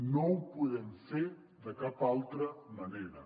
no ho podem fer de cap altra manera